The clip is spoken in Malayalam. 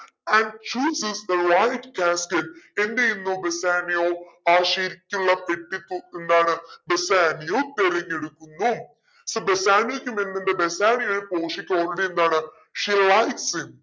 and chooses the white cascade എന്തെയുന്നു ബെസാനിയോ ആ sheet നുള്ള പെട്ടി പോ എന്താണ് ബെസാനിയോ തിരഞ്ഞെടുക്കുന്നു so ബെസാനിയോക്കും എന്തുണ്ട് ബെസാനിയോയെ പോഷിയക്ക് already എന്താണ് she like him